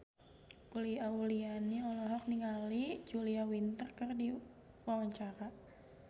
Uli Auliani olohok ningali Julia Winter keur diwawancara